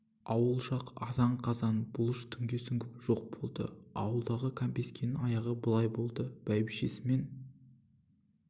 ауыл жак азан-қазан бұлыш түнге сүңгіп жоқ болды аулындағы кәмпескенің аяғы былай болды бәйбішесімен